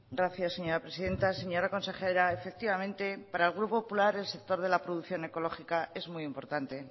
gracias señora presidenta señora consejera efectivamente para el grupo popular el sector de la producción ecológica es muy importante